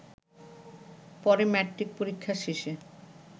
পরে ম্যাট্রিক পরীক্ষা শেষে